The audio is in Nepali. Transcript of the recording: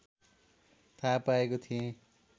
थाहा पाएको थिएँ